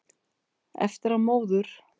Eftir að móður